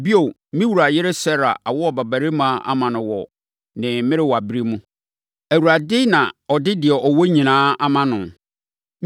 Bio, me wura yere Sara awo ɔbabarima ama no wɔ ne mmerewaberɛ mu; Awurade na ɔde deɛ ɔwɔ nyinaa ama no.